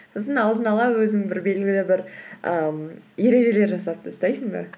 сосын алдын ала өзің бір белгілі бір ііі ережелер жасап тастайсың ба